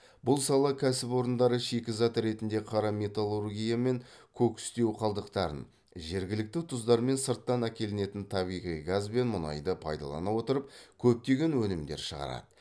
бұл сала кәсіпорындары шикізат ретінде қара металлургия мен кокстеу қалдықтарын жергілікті тұздар мен сырттан әкелінетін табиғи газ бен мұнайды пайдалана отырып кептеген өнімдер шығарады